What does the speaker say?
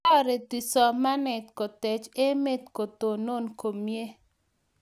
toretuu somanee kutech emee kotonon komie